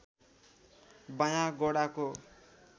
बायाँ गोडाको